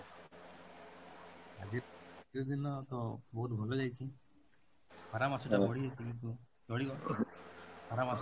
ଆଜି ଆଜି ଦିନ ତ ବହୁତ ଭଲ ଯାଇଛି, ଖରା ମାସଟା ବଢି ଯାଇଛି କିନ୍ତୁ ଚଳିବ, ଖରା ମାସ